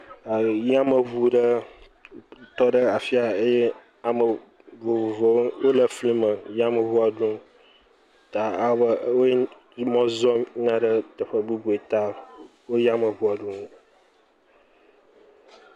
E yameŋu ɖe tɔ ɖe afia eye ame vovovowo wole fli me yameŋua ɖom ta ale be wo mɔ zɔm yina ɖe teƒe bubu ta wo yameŋua ɖom.